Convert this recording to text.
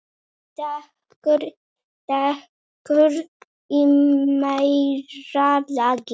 Dekur í meira lagi.